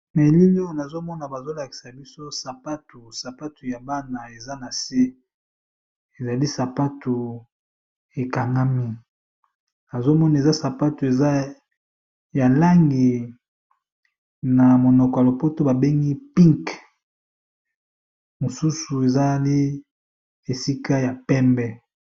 Na elili oyo, nazo mona bazo lakisa biso sapatu. Sapatu yango ya bana eza na se. Ezali sapatu ekangami, nazo mona eza sapatu eza ya langi ya pink ndenge ba bengaka yango na monoko ya lopoto. Mosusu ezalaka esika ya pembe.